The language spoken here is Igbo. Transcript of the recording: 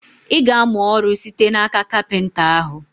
I ga-amụ ọrụ site n'aka kapịnta ahụ?